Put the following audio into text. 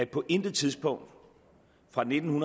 på intet tidspunkt fra nitten